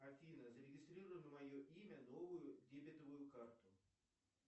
афина зарегистрируй на мое имя новую дебетовую карту